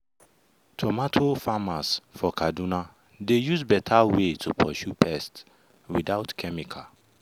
tomato farmers for kaduna dey use better way to pursue pest without chemical.